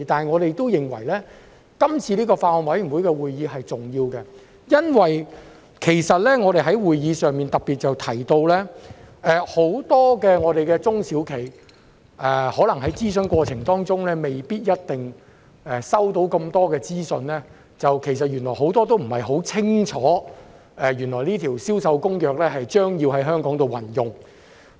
我們都認為該次法案委員會會議是重要的，因為我們在會議上特別提到，很多中小型企業可能在諮詢過程中未必收到這麼多資訊，原來他們很多都不太清楚《聯合國國際貨物銷售合同公約》將要在香港實施。